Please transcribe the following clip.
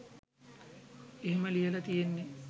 එහෙම ලියලා තියෙන්නේ.